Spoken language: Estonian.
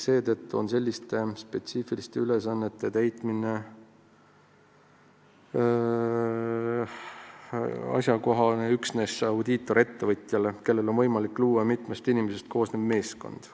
Seetõttu on selliste spetsiifiliste ülesannete täitmine kohane üksnes audiitorettevõtjale, kellel on võimalik luua mitmest inimesest koosnev meeskond.